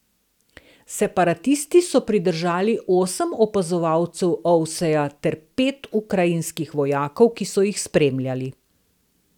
Separatisti so pridržali osem opazovalcev Ovseja ter pet ukrajinskih vojakov, ki so jih spremljali.